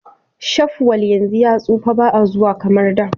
shafwal yanzu ya tsufa baa zuwa kamar da